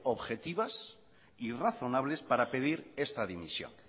objetivas y razonables para pedir esta dimisión